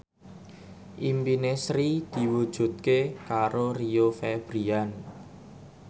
impine Sri diwujudke karo Rio Febrian